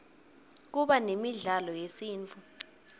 kuba nemidlalo yesintfu